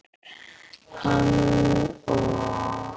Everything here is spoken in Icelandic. Réttur til að njóta kynlífs